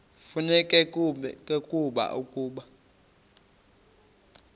kufuneka ke ukuba